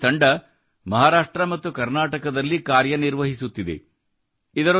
ಇಂದು ಈ ತಂಡ ಮಹಾರಾಷ್ಟ್ರ ಮತ್ತು ಕರ್ನಾಟಕದಲ್ಲಿ ಕಾರ್ಯ ನಿರ್ವಹಿಸುತ್ತಿದೆ